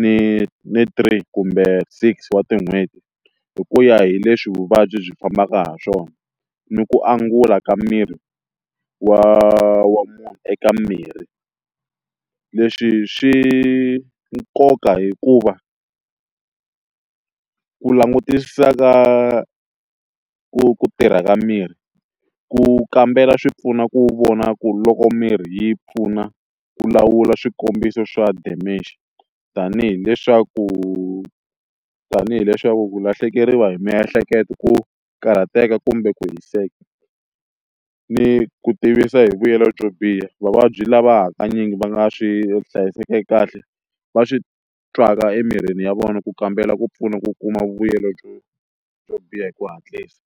ni ni three kumbe six wa tin'hweti hi ku ya hi leswi vuvabyi byi fambaka ha swona ni ku angula ka miri wa wa munhu eka mirhi leswi swi nkoka hikuva ku langutisa ka ku tirha ka mirhi ku kambela swi pfuna ku vona ku loko mirhi yi pfuna ku lawula swikombiso swa dementia tanihi leswaku tanihi leswaku ku lahlekeriwa hi miehleketo ku karhateka kumbe ku hiseka ni ku tivisa hi vuyelo byo biha vavabyi lava hakanyingi va nga swi hlayisekeki kahle va swi twaka emirini ya vona ku kambela ku pfuna ku kuma vuyelo byo byo biha hi ku hatlisa.